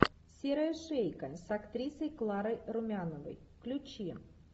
серая шейка с актрисой кларой румяновой включи